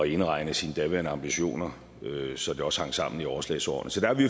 indregne sine daværende ambitioner så det også hang sammen i overslagsårene så der har vi